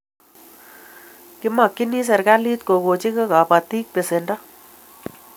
Kimakchini serikalit kokochi kabatik pesendo